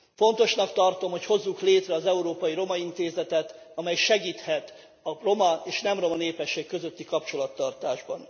Fontosnak tartom, hogy hozzuk létre az Európai Roma Intézetet, amely segíthet a roma és nem roma népesség közötti kapcsolattartásban.